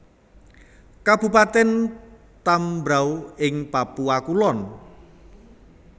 Kabupatèn Tambrauw ing Papua Kulon